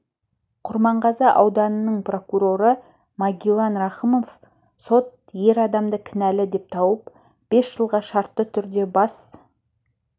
құрманғазы ауданының прокуроры магилан рахымов сот ер адамды кінәлі деп тауып бес жылға шартты түрде бас